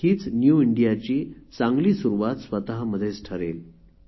हीच न्यू इंडियाची चांगली सुरुवात ठरेल